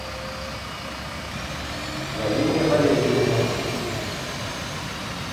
галине валерьевне